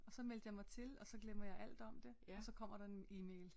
Og så meldte jeg mig til og så glemmer jeg alt om det og så kommer der en e-mail